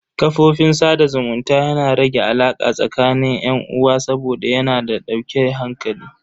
Kafofin sada zumunta yana rage alaka tsakanin yan uwa saboda yana da dauke hankali.